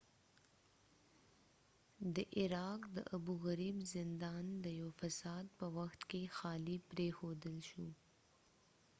د عراق د ابوغریب زندان د یوه فساد په وخت کې خالی پریښودل شو